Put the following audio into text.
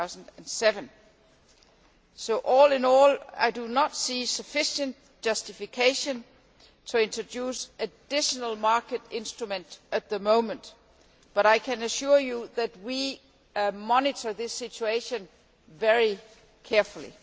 2007. All in all, I do not see sufficient justification for introducing an additional market instrument at the moment, but I can assure you that we are monitoring this situation very carefully.